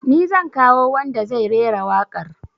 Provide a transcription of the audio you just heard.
Ni zan kawo wanda zai rera waƙar